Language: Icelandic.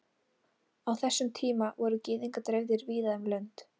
Á þessum tíma voru Gyðingar dreifðir víða um lönd.